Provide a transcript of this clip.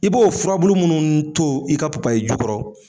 I b'o furabulu munnu to i ka papaye ju kɔrɔ